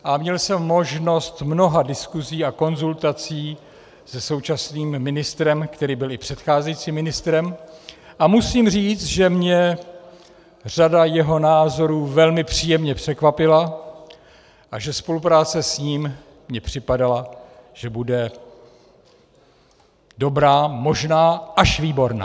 A měl jsem možnost mnoha diskusí a konzultací se současným ministrem, který byl i předcházejícím ministrem, a musím říct, že mě řada jeho názorů velmi příjemně překvapila a že spolupráce s ním mi připadala, že bude dobrá, možná až výborná.